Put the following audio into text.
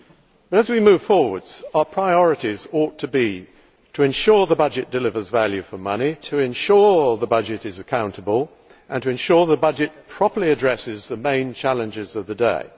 But as we move forward our priorities ought to be to ensure that the budget delivers value for money, to ensure the budget is accountable, and to ensure the budget properly addresses the main challenges of the day.